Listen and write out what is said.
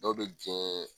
Dɔw bɛ diɲɛ